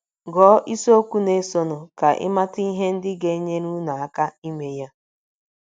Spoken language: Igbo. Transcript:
Gụọ isiokwu na - esonụ ka ị mata ihe ndị ga - enyere unu aka ime ya.